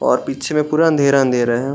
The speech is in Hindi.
और पीछे में पूरा अंधेर-अंधेर है।